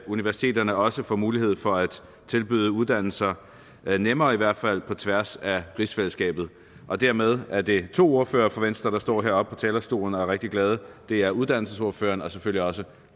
universiteterne også får mulighed for at tilbyde uddannelser nemmere i hvert fald på tværs af rigsfællesskabet og dermed er det to ordførere for venstre der står heroppe på talerstolen og er rigtig glade det er uddannelsesordføreren og selvfølgelig også